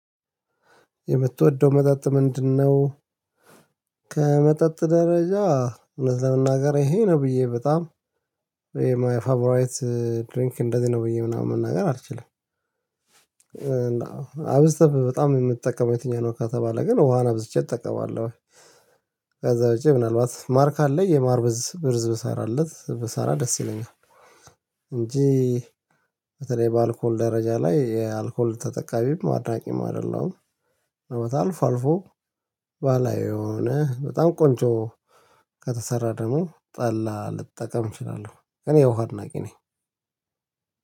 የምትወደው መጠጥ ምንድነው? ከመጠጥ ደረጃ ለመናገር ይሄ ነው ብዬ በጣም ይሄ ማይ ፋብራይት ድሪንክ እንደዚህ ነው ብዬ ምናምን መናገር አልችልም። አብስተህ በጣም የምትጠቀመው የትኛው ነው? ካተባለ ግን ውሃን አብዝቼ እጠቀማለሁ። ከዛ ውጪ ምናልባት ማር ካለ የማር ብርዝ ብሰራለት ብሰራ ደስ ይለኛል። እንጂ በተለይ በአልኮል ደረጃ ላይ የአልኮል ተጠቃሚም አድራጊም አይደለም። አልፎ ባላየው የሆነ በጣም ቆንጆ ከተሰራ ደግሞ ጠላ ልጠቀም እችላለሁ እኔ የውሃ አድናቂ ነኝ።